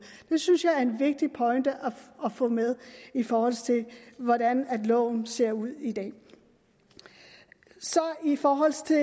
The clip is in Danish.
det synes jeg er en vigtig pointe at få med i forhold til hvordan loven ser ud i dag så i forhold til